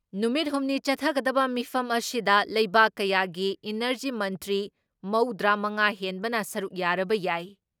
ꯅꯨꯃꯤꯠ ꯍꯨꯝꯅꯤ ꯆꯠꯊꯒꯗꯕ ꯃꯤꯐꯝ ꯑꯁꯤꯗ ꯂꯩꯕꯥꯛ ꯀꯌꯥꯒꯤ ꯏꯅꯔꯖꯤ ꯃꯟꯇ꯭ꯔꯤ ꯃꯧꯗ꯭ꯔꯤ ꯃꯉꯥ ꯍꯦꯟꯕꯅ ꯁꯔꯨꯛ ꯌꯥꯔꯕ ꯌꯥꯏ ꯫